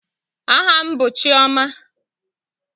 Aha m bụ Chiọma